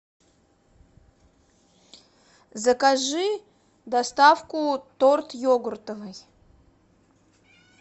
закажи доставку торт йогуртовый